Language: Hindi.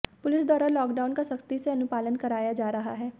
पुलिस द्वारा लॉकडाउन का सख़्ती से अनुपालन कराया जा रहा है